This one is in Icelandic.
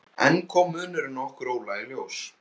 Enn kom munurinn á okkur Óla í ljós.